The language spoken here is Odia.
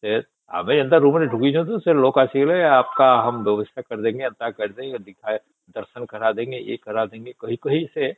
ଦେର ଏନ୍ତା ରୁମ ରେ ଢୁକି ଯାଉଛେ ସେ ଲୋକ ଆସିଲେ ଅପକା ହୁମକୋ ଏନ୍ତା କର ଦେଗେ ବ୍ୟବସ୍ତା କର ଦେଗେ ଦର୍ଶନ କର ଡେଡ଼ଗେ ୟେ କର ଦେଗେ କହି କହି ସେ